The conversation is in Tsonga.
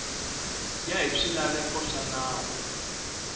ya hi swilaveko swa nawu